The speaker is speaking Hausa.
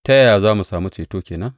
Ta yaya za mu sami ceto ke nan?